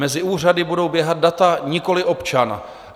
Mezi úřady budou běhat data, nikoli občan.